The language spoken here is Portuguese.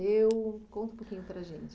Conta um pouquinho para a gente.